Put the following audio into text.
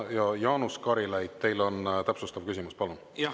Jaanus Karilaid, teil on täpsustav küsimus, palun!